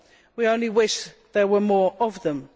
we only wish there were more of them.